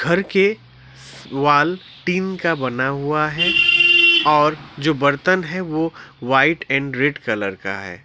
घर के wall tin का बना हुआ है और जो बर्तन है वो व्हाइट एंड रेड कलर का है।